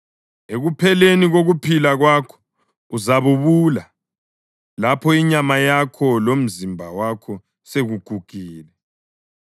Ekupheleni kokuphila kwakho uzabubula, lapho inyama yakho lomzimba wakho sekugugile.